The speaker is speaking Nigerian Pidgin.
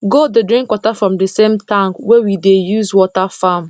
goat dey drink water from the same tank wey we dey use water farm